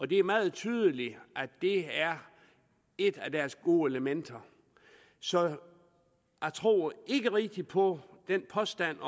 det er meget tydeligt at det er et af deres gode elementer så jeg tror ikke rigtig på den påstand